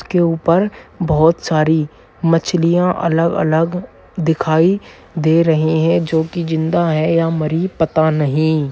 उसके उपर बहुत सारी मछलियाँ अलग-अलग दिखाई दे रहीं हैं जो की जिंदा है या मरी पता नहीं।